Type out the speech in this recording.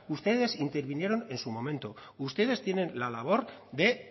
ustedes intervinieron en su momento ustedes tienen la labor de